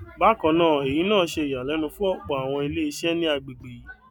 bákan náà eyi náà ṣe ìyàlénu fún ọpọ àwọn ilé iṣẹ ní agbègbè yìí